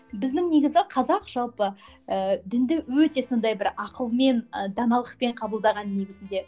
біздің негізі қазақ жалпы ыыы дінді өте сондай бір ақылмен ы даналықпен қабылдаған негізінде